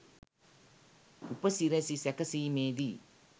උපසිරැසි සැකසීමේදී